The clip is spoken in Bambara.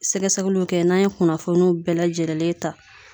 Sɛgɛsɛgɛluw kɛ n'an ye kunnafoniw bɛɛ lajɛrɛlen ta